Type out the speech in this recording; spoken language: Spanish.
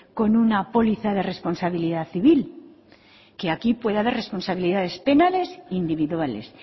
con una póliza de responsabilidad civil que aquí puede haber responsabilidades penales individuales